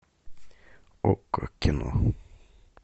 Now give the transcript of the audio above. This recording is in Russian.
окко кино